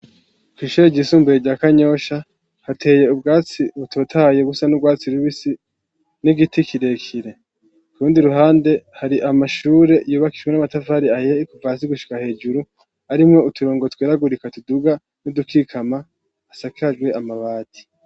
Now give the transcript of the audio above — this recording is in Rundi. Kw'ishure ryisumbuye rya Kanyosha, hateye ubwatsi butotahaye busa n'urwatsi rubisi, n'igiti kirekire. Ku rundi ruhande hari amashure yubakishijwe n'amatafari ahiye kuva hasi gushika hejuru, harimwo uturongo tugeragurika tuduga n'udukikama, asakajwe amabati.